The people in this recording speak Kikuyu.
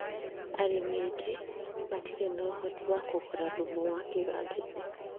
Arĩmi aingĩ matirĩ na ũhoti wa kũgũra thumu wa kiganda-inĩ